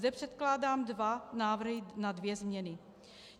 Zde předkládám dva návrhy na dvě změny: